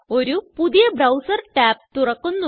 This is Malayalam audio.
ഒരു പുതിയ ബ്രൌസർ tab തുറക്കുന്നു